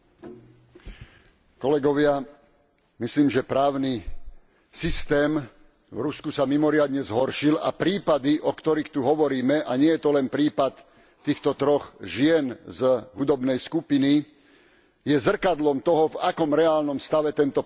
Myslím, že právny systém v Rusku sa mimoriadne zhoršil a prípady, o ktorých tu hovoríme, a nie je to len prípad týchto troch žien z hudobnej skupiny, je zrkadlom toho, v akom reálnom stave tento právny systém je a existuje.